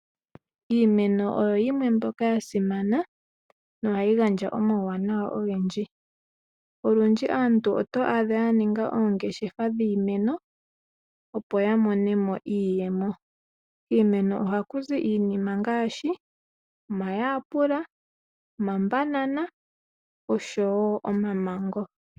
Iimeno oyo yimwe mbyoka ya simana nohayi gandja omawunawa ogendji. Olundji aantu oto adha ya ninga oongeshefa dhiimeno, opo ya mone mo iiyemo. Kiimeno ohaku zi iinima ngaashi omayapula, omabanana oshowo omamango.